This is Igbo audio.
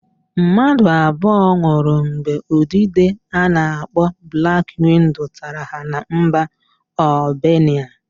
Mmadụ abụo nwụrụ mgbe udide a na-akpọ blak wido tara ha na mba Albenia.